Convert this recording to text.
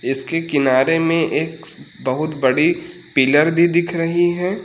इसके किनारे में एक बहुत बड़ी पिलर भी दिख रही है।